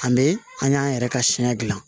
An bɛ an y'an yɛrɛ ka siya gilan